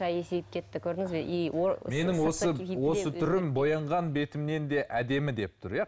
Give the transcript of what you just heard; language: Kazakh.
кетті көрдіңіз бе и осы түрім боянған бетімнен де әдемі деп тұр иә